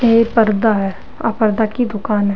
ये पर्दा है आ पर्दा की दुकान है।